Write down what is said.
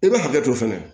I bɛ hakɛ to fɛnɛ